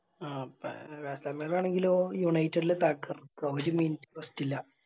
ആ പേ കസങ്ങര ആണെങ്കിലോ United തകർക്ക്ആ ഒര് Minute ഇല്ല